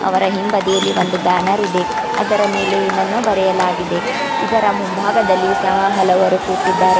ಅವರ ಇಂಬದಿಯಲ್ಲಿ ಒಂದು ಬ್ಯಾನರ್ ಇದೆ ಅದರ ಅದರ ಮೇಲೆ ಏನನ್ನು ಬರೆಯಲಾಗಿದೆ ಇದರ ಮುಂಭಾಗದಲ್ಲಿ ಹಲವರು ಕುತಿದ್ದಾರೆ.